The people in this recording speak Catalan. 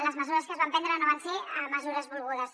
les mesures que es van prendre no van ser mesures volgudes